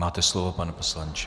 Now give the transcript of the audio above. Máte slovo, pane poslanče.